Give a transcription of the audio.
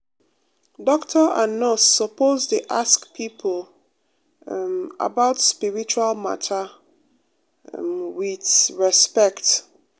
doctor and nurse sopose dey ask pipo um about spiritual mata um wit respect.